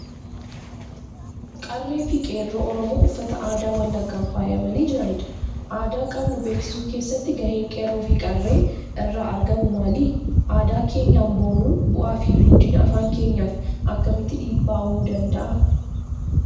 Qarree fi qeerroo Oromoo uffata aadaa Wallaggaan faayamanii jiranidha. Aadaa qabnu beeksisuu keessatti gaheen qeerroo fi qarree irraa eegamu maali? Aadaa keenyaan boonuun bu'aa fi guddina afaan keenyaaf akkamitti dhiibbaa uumuu danda'a?